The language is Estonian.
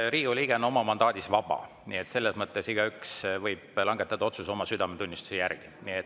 Riigikogu liige on oma mandaadis vaba, nii et selles mõttes võib igaüks langetada otsuse oma südametunnistuse järgi.